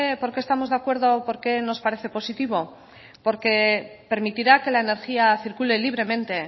por qué estamos de acuerdo o por qué nos parece positivo porque permitirá que la energía circule libremente